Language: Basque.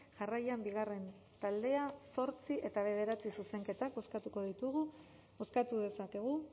jarraian bigarren taldea zortzi eta bederatzi zuzenketak bozkatuko ditugu bozkatu dezakegu